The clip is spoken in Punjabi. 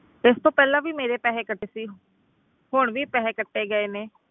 ਤੇ ਇਸ ਤੋਂ ਪਹਿਲਾਂ ਵੀ ਮੇਰੇ ਪੈਸੇ ਕੱਟੇ ਸੀ, ਹੁਣ ਵੀ ਪੈਸੇ ਕੱਟੇ ਗਏ ਨੇ।